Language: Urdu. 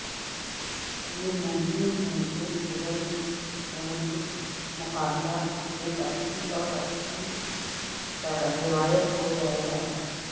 یہ ممکن ہے کہ پیرالمپک مقابلہ ایک اچھی اور ایک اچھی روایت ہو جائے گا